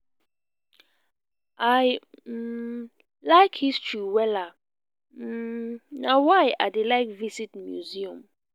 i um like history wella um na why i dey like visit museum